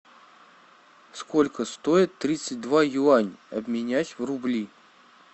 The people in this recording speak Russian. сколько стоит тридцать два юань обменять в рубли